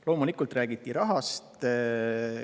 Loomulikult räägiti rahast.